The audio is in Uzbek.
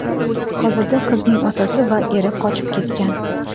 Hozirda qizning otasi va eri qochib ketgan.